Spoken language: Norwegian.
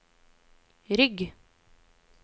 rygg